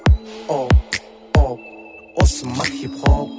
о о осы ма хип хоп